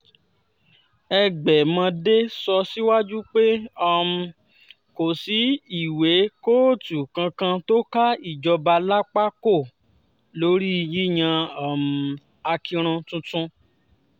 ẹgbẹ̀mọdé sọ síwájú pé um kò sí ìwé kóòtù kankan tó ká ìjọba lápá kó lórí yíyan um akinrun tuntun